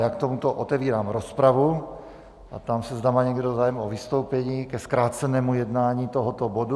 Já k tomuto otevírám rozpravu a ptám se, zda má někdo zájem o vystoupení ke zkrácenému jednání tohoto bodu.